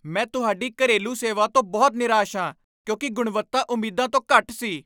ਮੈਂ ਤੁਹਾਡੀ ਘਰੇਲੂ ਸੇਵਾ ਤੋਂ ਬਹੁਤ ਨਿਰਾਸ਼ ਹਾਂ ਕਿਉਂਕਿ ਗੁਣਵੱਤਾ ਉਮੀਦਾਂ ਤੋਂ ਘੱਟ ਸੀ।